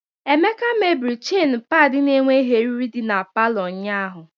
Emeka mebiri chajin paịlị n'enweghi eriri di na palọ ụnyahu.